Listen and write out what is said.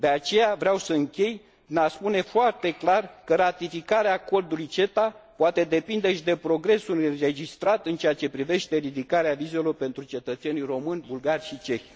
De aceea, vreau să închei prin a spune foarte clar că ratificarea Acordului CETA poate depinde și de progresul înregistrat în ceea ce privește ridicarea vizelor pentru cetățenii români, bulgari și cehi.